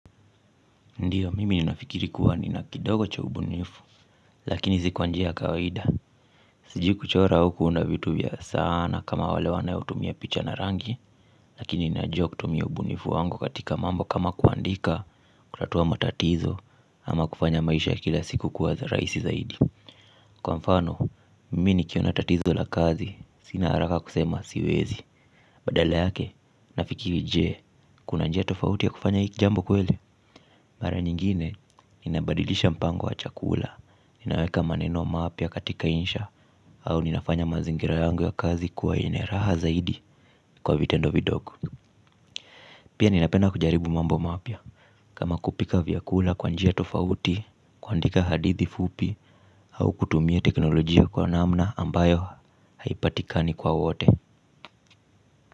Ndiyo, mimi ninafikiri kuwa nina kidogo cha ubunifu, lakini si kwa njia ya kawaida. Sijui kuchora au kuunda vitu vya sanaa kama wale wanaotumia picha na rangi, lakini ninajua kutumia ubunifu wangu katika mambo kama kuandika, kutatua matatizo ama kufanya maisha kila siku kuwa rahisi zaidi. Kwa mfano, mimi nikiona tatizo la kazi, sina haraka kusema siwezi. Badala yake, nafikiri je, kuna njia tofauti ya kufanya hii jambo kweli. Mara nyingine, ninabadilisha mpango wa chakula, ninaweka maneno mapya katika insha au ninafanya mazingira yangu ya kazi kuwa yenye raha zaidi kwa vitendo vidogo. Pia ninapenda kujaribu mambo mapya, kama kupika vyakula kwa njia tofauti, kuandika hadithi fupi au kutumia teknolojia kwa namna ambayo haipatikani kwa wote.